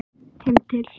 Heim til